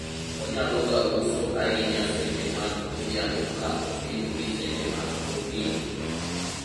onyalo ga uso ahinya seche mag godhiambo ka opim gi seche mag okinyi